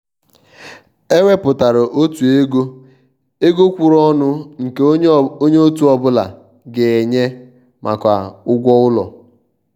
è wépụtárà ọ̀tụ̀ égò égò kwụ̀ụrụ̀ ọnụ nke ònye òtù ọ́bụ̀la ga-ènyé maka ụ́gwọ́ ụlọ.